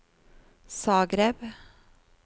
Zagreb